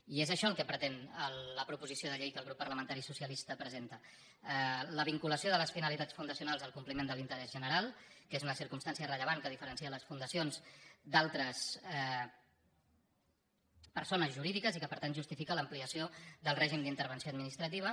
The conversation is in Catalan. i és això el que pretén la proposició de llei que el grup parlamentari socialista presenta la vinculació de les finalitats fundacionals al compliment de l’interès general que és una circumstància rellevant que diferencia les fundacions d’altres persones jurídiques i que per tant justifica l’ampliació del règim d’intervenció administrativa